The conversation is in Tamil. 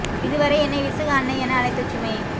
இதுவரை என்னை விசுகு அண்ணை என அழைத்த சுமே